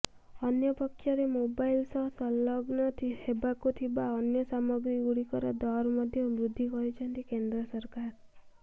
ଅନ୍ୟପକ୍ଷରେ ମୋବାଇଲ ସହ ସଂଲଗ୍ନ ହେବାକୁ ଥିବା ଅନ୍ୟ ସାମଗ୍ରୀଗୁଡିକର ଦର ମଧ୍ୟ ବୃଦ୍ଧି କରିଛନ୍ତି କେନ୍ଦ୍ର ସରକାର